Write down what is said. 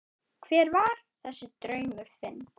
Hver var þessi draumur þinn?